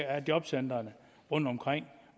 af jobcentrene rundtomkring